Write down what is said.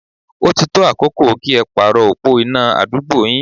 Ó ti tó àkókò kí ẹ pàrọ̀ opó iná àdúgbò yín.